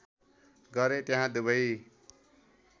गरे त्यहाँ दुबै